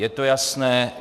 Je to jasné?